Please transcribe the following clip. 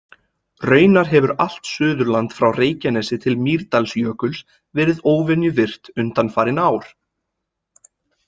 Raunar hefur allt Suðurland frá Reykjanesi til Mýrdalsjökuls verið óvenju virkt undanfarin ár.